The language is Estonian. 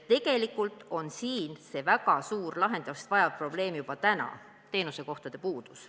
Tegelikult on siin väga suur lahendust vajav probleem juba täna – teenuskohtade puudus.